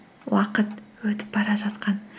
уақыт өтіп бара жатқан